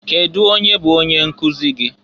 Kedụ onye bụ onye nkụzị gị?